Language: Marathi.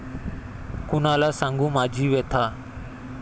कुणाला सांगू माझी व्यथा